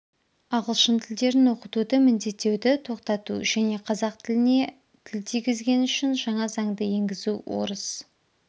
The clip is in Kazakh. ағылшын тілдерін оқытуды міндеттеуді тоқтату және қазақ тіліне тіл тигізген үшін жаңа заңды енгізу орыс